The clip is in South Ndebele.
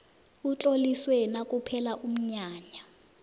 utloliswe nakuphela umnyanya